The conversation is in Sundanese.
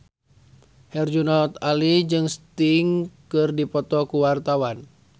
Herjunot Ali jeung Sting keur dipoto ku wartawan